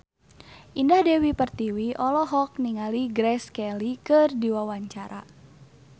Indah Dewi Pertiwi olohok ningali Grace Kelly keur diwawancara